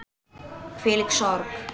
Hvílík sorg.